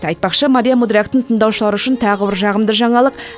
айтпақшы мария мудряктың тыңдаушылары үшін тағы бір жағымды жаңалық